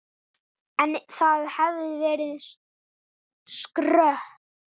En það hefði verið skrök.